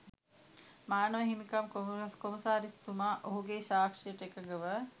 මානව හිමිකම් කොමසාරිස්තුමා ඔහුගේ සාක්ෂියට එකඟව